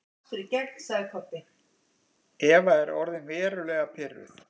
Eva er orðin verulega pirruð.